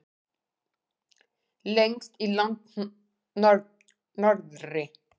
Lengst í landnorðri.